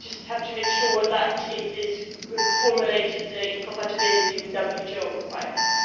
we just have to make sure that it is formulated in compatibility with WTO requirements.